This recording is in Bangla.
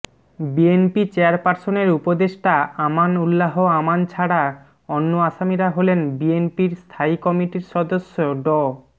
বিএনপি চেয়ারপারসনের উপদেষ্টা আমান উল্লাহ আমান ছাড়া অন্য আসামিরা হলেন বিএনপির স্থায়ী কমিটির সদস্য ড